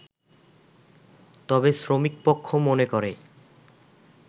তবে শ্রমিকপক্ষ মনে করে